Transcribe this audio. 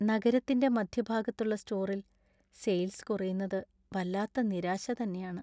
നഗരത്തിന്‍റെ മധ്യഭാഗത്തുള്ള സ്റ്റോറിൽ സെയിൽസ് കുറയുന്നത് വല്ലാത്ത നിരാശാ തന്നെയാണ്.